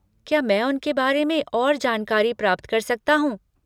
क्या मैं उनके बारे में और जानकारी प्राप्त कर सकता हूँ?